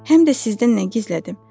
Həm də sizdən nə gizlətdim.